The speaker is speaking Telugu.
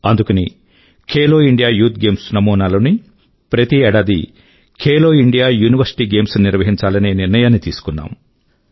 అందుకని ఖేలో ఇండియా యూత్ గేమ్స్ నమూనా లోనే ప్రతి ఏడాదీ ఖేలో ఇండియా యూనివర్సిటీ గేమ్స్ ను నిర్వహించాలనే నిర్ణయాన్ని తీసుకున్నాము